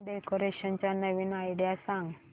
home decoration च्या नवीन idea सांग